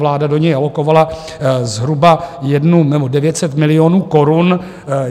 Vláda do něj alokovala zhruba 900 milionů korun.